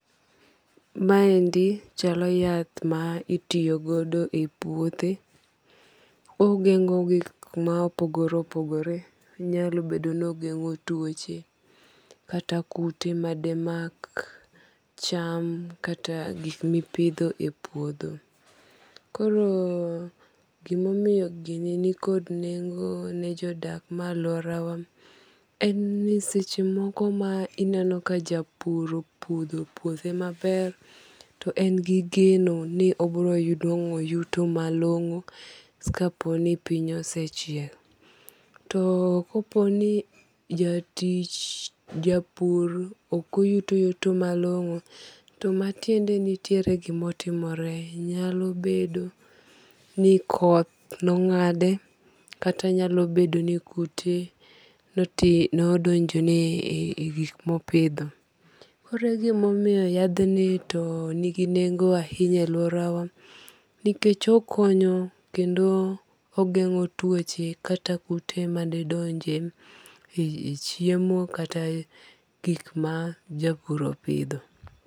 Ma endi chalo yath ma itiyogodo e puothe. Ogeng'o gik ma opogore opogore. Onyalo bedo ni ogeng'o tuoche kata kute made mak cham kata gik mipidho e puodho. Koro gimomiyo gini ni kod neggo ne jodak me aluora wa en ni seche moko ma ineno ka japur opuro puithe maber to en gi geno ni obiro yudo nwang'o yuto malong'o kapo ni piny osechiek. To kopo ni jatich japur okoyuto yuto malong'o to matiende nitiere gimotimore. Nyalo bedo ni koth nong'ade kata nyalo bedo ni kute nodonjo ne e gik mopidho. Koro egimomiyo yadhni to nigi nengo ahinya e lauora wa nikech okonyo kendo ogeng'o tuoche kata kute madedonje e chiemo kata gik ma japur opidho.